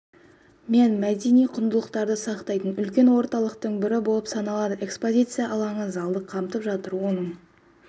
мен мдени құндылықтарды сақтайтын үлкен орталықтың бірі болып саналады экспозиция алаңы залды қамтып жатыр оның